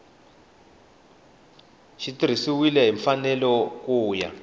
tirhisiwile hi mfanelo ku ya